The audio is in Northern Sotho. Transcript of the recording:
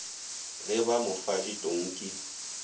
ge ba mo fa ditonki